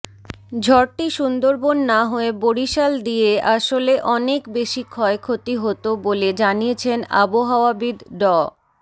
ঝড়টি সুন্দরবন না হয়ে বরিশাল দিয়ে আসলে অনেক বেশি ক্ষয়ক্ষতি হতো বলে জানিয়েছেন আবহাওয়াবিদ ড